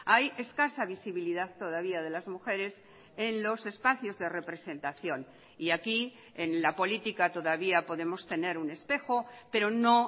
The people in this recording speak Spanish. hay escasa visibilidad todavía de las mujeres en los espacios de representación y aquí en la política todavía podemos tener un espejo pero no